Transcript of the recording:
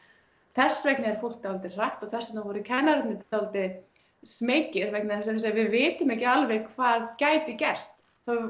þess vegna er fólk dálítið hrætt og þess vegna voru kennararnir dálítið smeykir vegna þess að við vitum ekki alveg hvað gæti gerst